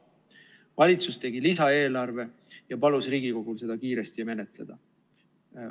Valitsus tegi lisaeelarve ja palus Riigikogul seda kiiresti menetleda.